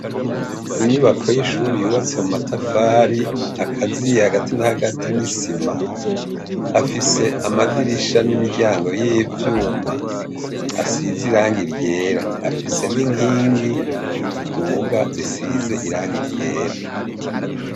Inyubako y'ishuri yubatse mu matafari akaziye hagati na hagati n'isima afise amadirisha n'imiryango y'ivyuma asize iranga iryera afise n'inkingi ziduga zisize iranga iryera.